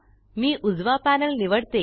मी उजवा पॅनल निवडते